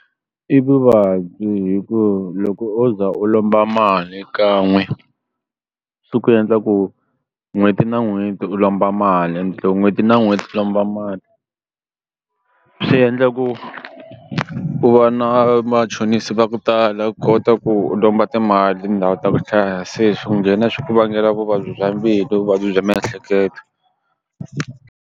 I vuvabyi hi ku loko o za u lomba mali kan'we swi ku endla ku n'hweti na n'hweti u lomba mali endle n'hweti na n'hweti u lomba mali swi endla ku u va na machonisi va ku tala kota ku u lomba timali tindhawu ta ku hlaya se swi nghena swi ku vangela vuvabyi bya mbilu vuvabyi bya miehleketo.